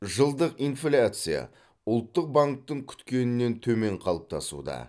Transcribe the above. жылдық инфляция ұлттық банктің күткенінен төмен қалыптасуда